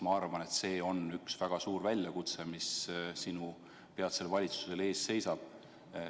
Ma arvan, et see on üks väga suur väljakutse, mis sinu peatsel valitsusel ees seisab.